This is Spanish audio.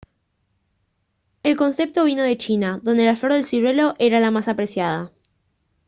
el concepto vino de china donde la flor del ciruelo era la más apreciada